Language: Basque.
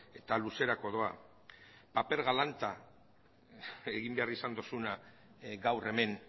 eta luzerako doa paper galanta egin behar izan duzuna gaur hemen